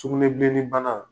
Sugunɛbilenni bana